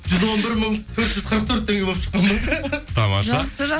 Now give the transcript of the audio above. жүз он бір мың төрт жүз қырық төрт теңге болып тамаша жақсы